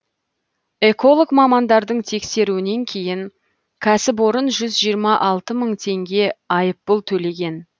эколог мамандардың тексеруінен кейін кәсіпорын жүз жиырма алты мың теңге айыппұл төлеген